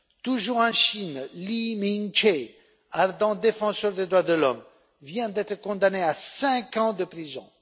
Toujours en Chine, Lee Ming che, ardent défenseur des droits de l'homme, vient d'être condamné à cinq ans de prison.